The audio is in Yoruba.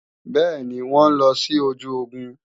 Bẹ́ẹ̀ni, wọn ń lọ sí ojú ogun